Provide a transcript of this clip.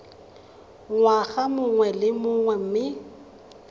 ngwaga mongwe le mongwe mme